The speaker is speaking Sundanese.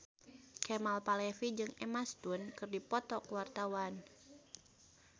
Kemal Palevi jeung Emma Stone keur dipoto ku wartawan